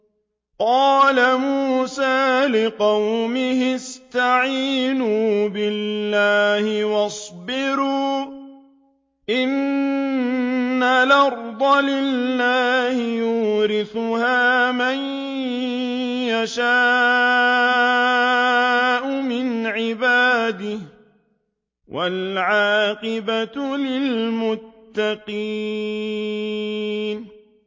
قَالَ مُوسَىٰ لِقَوْمِهِ اسْتَعِينُوا بِاللَّهِ وَاصْبِرُوا ۖ إِنَّ الْأَرْضَ لِلَّهِ يُورِثُهَا مَن يَشَاءُ مِنْ عِبَادِهِ ۖ وَالْعَاقِبَةُ لِلْمُتَّقِينَ